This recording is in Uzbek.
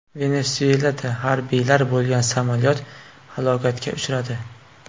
Venesuelada harbiylar bo‘lgan samolyot halokatga uchradi.